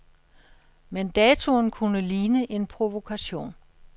Men datoen kunne ligne en provokation.